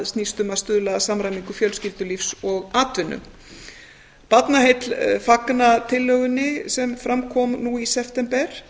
snýst um að stuðla að samræmingu fjölskyldulífs og atvinnu barnaheill fagna tillögunni sem fram kom nú í september